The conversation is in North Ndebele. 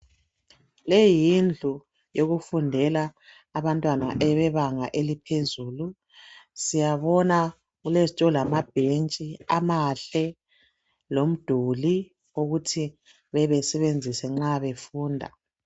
leyi yindlu eyokufundela abantwana abebanga elaphezulu siyabona kulezituo lamabhentshi amahle lomduli ukuthi bebe besebenzisa nxa befunda